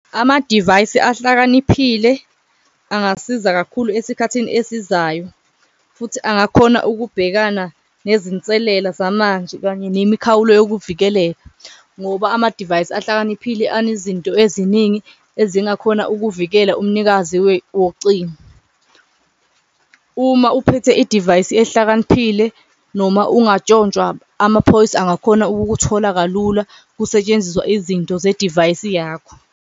Amadivayisi ahlakaniphile angasiza kakhulu esikhathini esizayo futhi angakhona ukubhekana nezinselela zamanje, kanye nemikhawulo wokuvikeleka ngoba amadivayisi ahlakaniphile anezinto eziningi ezingakhona ukuvikela umnikazi wocingo. Uma uphethe idivayisi ehlakaniphile noma ungatshontshwa, amaphoyisa angakhona ukukuthola kalula kusetshenziswa izinto zedivayisi yakho.